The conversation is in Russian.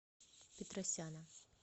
петросяна